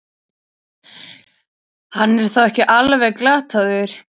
Hann er þá ekki alveg glataður!